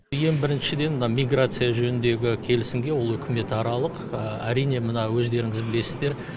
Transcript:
ең біріншіден мына миграция жөніндегі келісімге ол үкіметаралық әрине мына өздеріңіз білесіздер